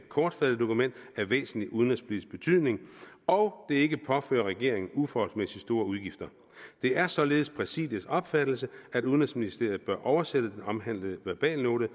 kortfattet dokument af væsentlig udenrigspolitisk betydning og det ikke påfører regeringen uforholdsmæssigt store udgifter det er således præsidiets opfattelse at udenrigsministeriet bør oversætte den omhandlede verbalnote